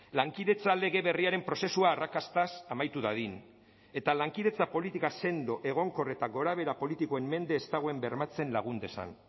lankidetza lege berriaren prozesua arrakastaz amaitu dadin eta lankidetza politika sendo egonkor eta gorabehera politikoen mende ez dagoen bermatzen lagun dezan